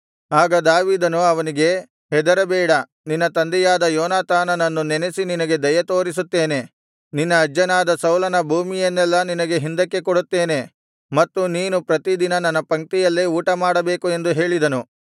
ಆಗ ದಾವೀದನು ಅವನಿಗೆ ಹೆದರಬೇಡ ನಿನ್ನ ತಂದೆಯಾದ ಯೋನಾತಾನನನ್ನು ನೆನಸಿ ನಿನಗೆ ದಯೆತೋರಿಸುತ್ತೇನೆ ನಿನ್ನ ಅಜ್ಜನಾದ ಸೌಲನ ಭೂಮಿಯನ್ನೆಲ್ಲಾ ನಿನಗೆ ಹಿಂದಕ್ಕೆ ಕೊಡುತ್ತೇನೆ ಮತ್ತು ನೀನು ಪ್ರತಿ ದಿನ ನನ್ನ ಪಂಕ್ತಿಯಲ್ಲೇ ಊಟಮಾಡಬೇಕು ಎಂದು ಹೇಳಿದನು